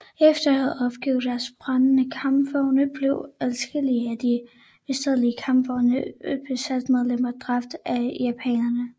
Efter at have opgivet deres brændende kampvogne blev adskillige af de beskadigede kampvognes besætningsmedlemmer dræbt af japanerne